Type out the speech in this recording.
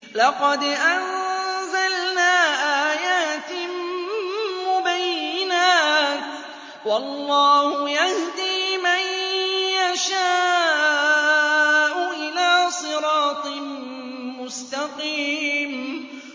لَّقَدْ أَنزَلْنَا آيَاتٍ مُّبَيِّنَاتٍ ۚ وَاللَّهُ يَهْدِي مَن يَشَاءُ إِلَىٰ صِرَاطٍ مُّسْتَقِيمٍ